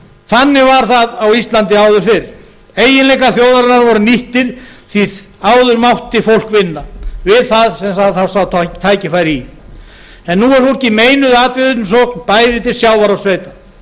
þannig var það á íslandi áður fyrr eiginleikar þjóðarinnar voru nýttir því áður mátti fólk vinna við það sem það þá sá tækifæri í nú er fólki meinuð atvinnusókn bæði til sjávar og sveita